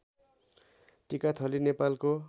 टिकाथली नेपालको